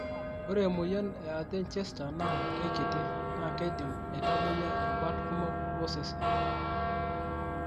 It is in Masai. ore emoyian e Erdheim Chester naa keikiti naakeidim aitamoyia irubat kumok osese.